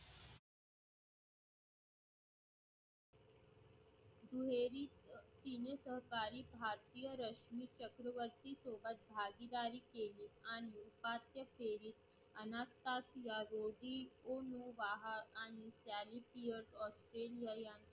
दुहेरी तिने सरकारी भारतीय रशि चक्रवर्ती सोबत भागीदारी केली. आणि उपांत्य फेरी अनाथ्हा शियाओदी कुहू बाहर आणि त्यांनी Beer Australia